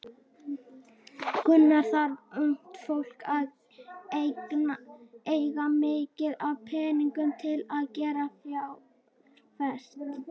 Gunnar: Þarf ungt fólk að eiga mikið af peningum til að geta fjárfest?